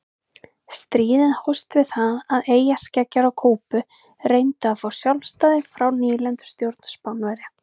Stríðið hófst við það að eyjarskeggjar á Kúbu reyndu að fá sjálfstæði frá nýlendustjórn Spánverja.